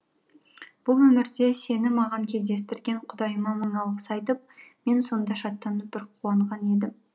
бұл өмірде сені маған кездестірген құдайыма мың алғыс айтып мен сонда шаттанып бір қуанған едім